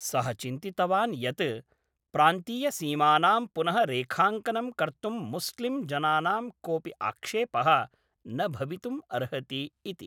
सः चिन्तितवान् यत् प्रान्तीयसीमानां पुनः रेखाङ्कनं कर्तुं मुस्लिम् जनानां कोपि आक्षेपः न भवितुम् अर्हति इति।